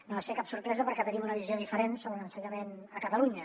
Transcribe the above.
no ha de ser cap sorpresa perquè tenim una visió diferent sobre l’ensenyament a catalunya